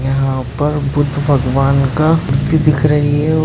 यहा पर बुद्ध भगवान का मूर्ति दिख रही है।